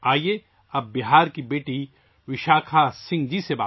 آؤ، اب بات کرتے ہیں بہار کی بیٹی وشاکھا سنگھ جی سے